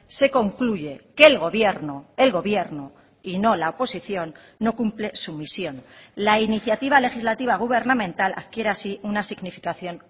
se concluye que el gobierno el gobierno y no la oposición no cumple su misión la iniciativa legislativa gubernamental adquiere así una significación